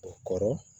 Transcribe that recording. O kɔrɔ